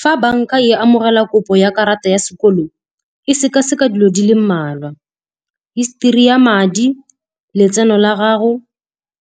Fa banka e amogela kopo ya karata ya sekolo, e sekaseka dilo di le mmalwa, histori ya madi, letseno la gago,